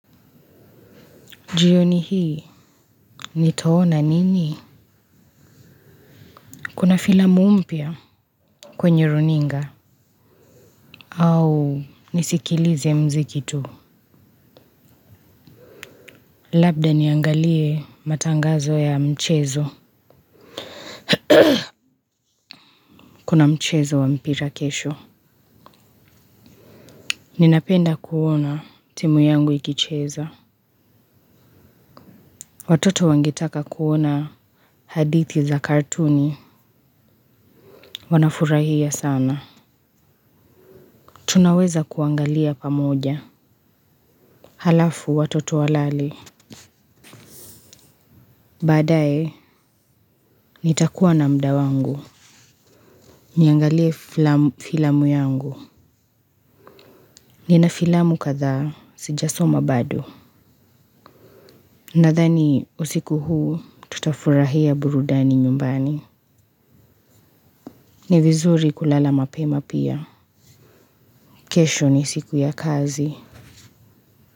Jioni hii nitaona nini. Kuna filamu mpya. Kwenye runinga au nisikilize mziki tu. Labda niangalie matangazo ya mchezo. Kuna mchezo wa mpira kesho. Ninapenda kuona timu yangu ikicheza. Watoto wangetaka kuona hadithi za kartuni. Wanafurahia sana. Tunaweza kuangalia pamoja halafu watoto walale baadae nitakua na mda wangu. Niangalie filamu yangu. Nina filamu kathaa sijasoma bado. Nathani usiku huu tutafurahia burudani nyumbani. Ni vizuri kulala mapema pia. Kesho ni siku ya kazi.